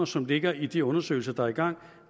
som ligger i de undersøgelser der er i gang